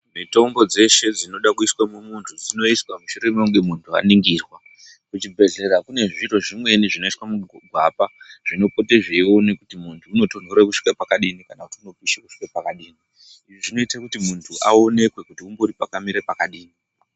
Mitombo dzeshe dzinoda kuiswe mumuntu dzinoiswa mushure mekunge muntu aningirwa. Muchibhedhlera mune zviro zvimweni zvinoiswa mugwapa zvinopote zveione kuti muntu unotonhore kusvika pakadini kana kuti unopishe kusvika pakadini. Izvi zvinoite kuti muntu aonekwe kuti umbori pakamire pakadini